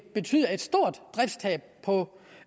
betyde et stort driftstab på